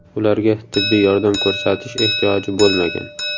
Ularga tibbiy yordam ko‘rsatish ehtiyoji bo‘lmagan.